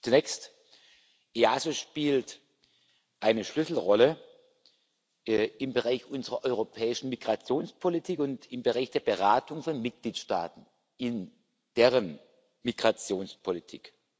Zunächst Das EASO spielt eine Schlüsselrolle im Bereich unserer europäischen Migrationspolitik und im Bereich der Beratung von Mitgliedstaaten in deren Migrationspolitik.